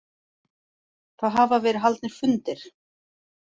Það hafa verið haldnir fundir